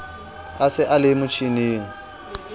a se a le motjhining